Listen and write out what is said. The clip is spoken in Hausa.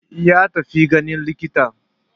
Ya tafi ganin likita.